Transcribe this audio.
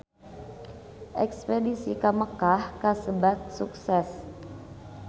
Espedisi ka Mekkah kasebat sukses